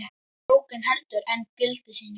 Bókin heldur enn gildi sínu.